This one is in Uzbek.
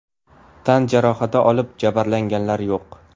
Tan jarohati olib, jabrlanganlar yo‘q.